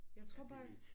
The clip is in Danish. Jeg tror bare